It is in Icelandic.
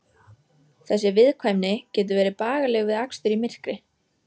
Þessi viðkvæmni getur verið bagaleg við akstur í myrkri.